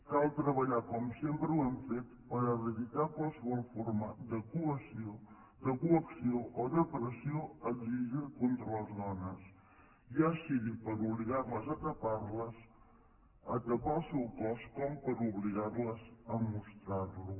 cal treballar com sempre ho hem fet per eradicar qualsevol forma de coacció o de pressió exigida contra les dones ja sigui per obligar les a tapar el seu cos com per obligar les a mostrar lo